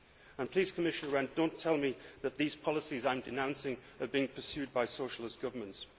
And please, Commissioner Rehn, do not tell me that these policies I am denouncing are being pursued by socialist governments.